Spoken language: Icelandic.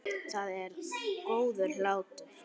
Það er góður hlátur.